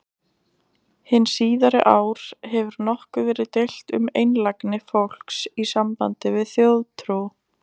Hin síðari ár hefur nokkuð verið deilt um einlægni fólks í sambandi við þjóðtrú.